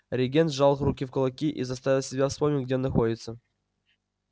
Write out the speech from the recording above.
регент сжал руки в кулаки и заставил себя вспомнить где он находится